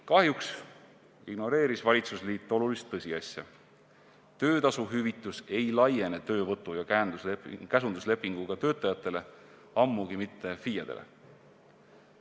Kahjuks ignoreeris valitsusliit olulist tõsiasja: töötasuhüvitis ei laiene töövõtu- ja käsunduslepinguga töötajatele, ammugi mitte FIE-dele.